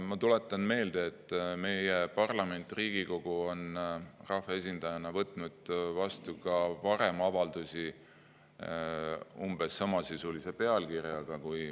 Ma tuletan meelde, et meie parlament ehk Riigikogu on rahvaesindajana ka varem vastu võtnud avaldusi umbes samasisulise pealkirjaga.